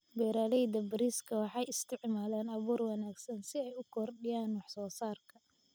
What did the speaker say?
Beeralayda bariiska waxay isticmaalaan abuur wanaagsan si ay u kordhiyaan wax soo saarka.